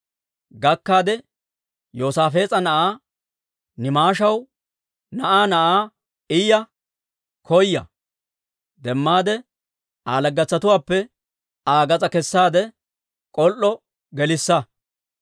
Gakkaade, Yoosaafees'a na'aa, Nimishaw na'aa na'aa Iya koya. Demmaade, Aa laggetuwaappe Aa gas'aa kessaade, k'ol"o gelissa.